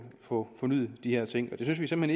få fornyet de her ting det synes vi simpelt